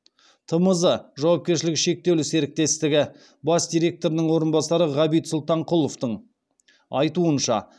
тмз жауапкершілігі шектеулі серіктьестігі бас директорының орынбасары ғабит сұлтанқұловтың айтуынша